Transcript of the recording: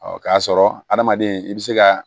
k'a sɔrɔ adamaden i bɛ se ka